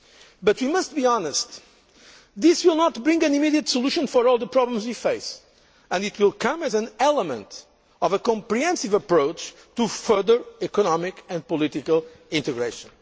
change. But we must be honest this will not bring an immediate solution for all the problems we face, and it will be one element of a comprehensive approach to further economic and political integration.